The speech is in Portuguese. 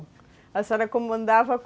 A senhora comandava